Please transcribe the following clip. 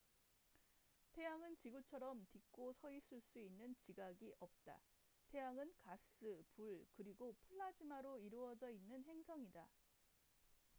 태양은 지구처럼 딛고 서있을 수 있는 지각이 없다 태양은 가스 불 그리고 플라즈마로 이루어져 있는 행성이다